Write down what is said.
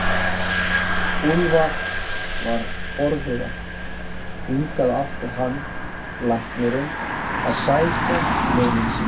Úlfar var forviða, hingað átti hann, læknirinn, að sækja launin sín!